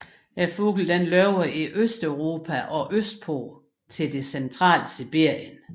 Fuglen lever i Østeuropa og østpå til det centrale Sibirien